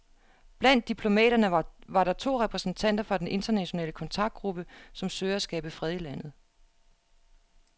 Blandt diplomaterne var to repræsentanter fra den internationale kontaktgruppe, som søger at skabe fred i landet.